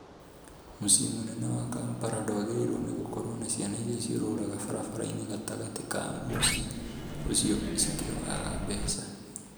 Mũciĩ mũnene wa Kampala dwagĩrĩirwo nĩ gũkorwo na ciana irĩa cĩũrũraga barabara-inĩ gatagati ka mũciĩ ũcio cikĩhoya mbeca